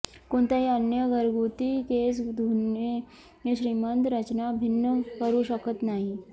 कोणत्याही अन्य घरगुती केस धुणे श्रीमंत रचना भिन्न करू शकत नाही